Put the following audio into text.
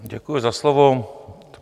Děkuji za slovo.